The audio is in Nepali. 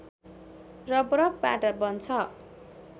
र बरफबाट बन्छ